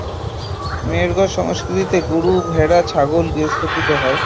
মেহেরগড় সংস্কৃতিতে গরু, ভেড়া, ছাগল গার্হস্থ্যকৃত হয়